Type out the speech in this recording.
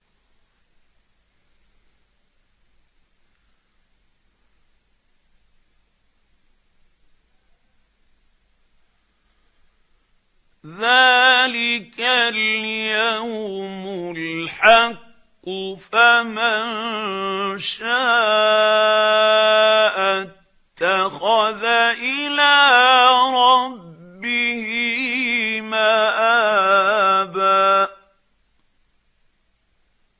ذَٰلِكَ الْيَوْمُ الْحَقُّ ۖ فَمَن شَاءَ اتَّخَذَ إِلَىٰ رَبِّهِ مَآبًا